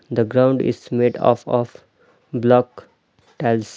The ground is made uf of block tiles.